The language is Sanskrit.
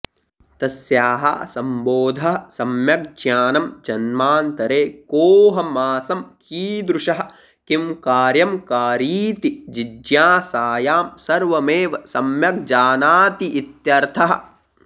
तस्याः सम्बोधः सम्यग्ज्ञानं जन्मान्तरे कोऽहमासं कीदृशः किंकार्यकारीति जिज्ञासायां सर्वमेव सम्यग्जानातीत्यर्थः